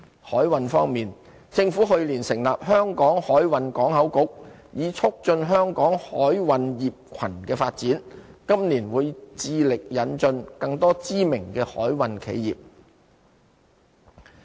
海運方面，政府去年成立"香港海運港口局"，以促進香港海運業群的發展，今年會致力引進更多知名的海運企業。